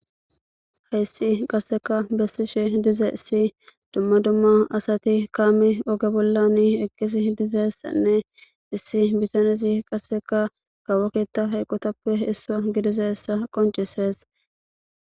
heyssi qasseka bessishe dize issi dumma dumma asati kaami oge bollan eqqisi dizessanne issi bitanisi qasseka gawoketa hayqotappe issaa gidizeessa qoncisees